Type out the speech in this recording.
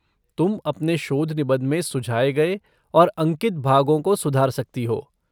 तुम अपने शोध निबंध में सुझाए गए और अंकित भागों को सुधार सकती हो।